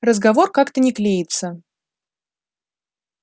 разговор как-то не клеится